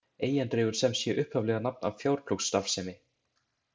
Eyjan dregur sem sé upphaflega nafn af fjárplógsstarfsemi.